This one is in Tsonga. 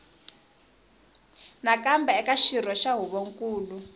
nakambe eka xirho xa huvonkulu